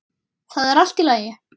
Það er allt í lagi